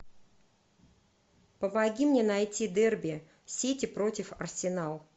помоги мне найти дерби сити против арсенал